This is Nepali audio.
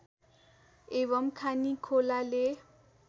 एवं खानी खोलाले